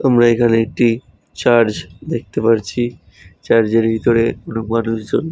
তোমরা এখানে একটি চার্চ দেখতে পারছি চার্জ এর ভিতরে মানুষজন --